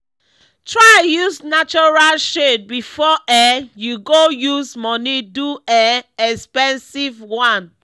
try use natural shade before um you go use money do um expensive one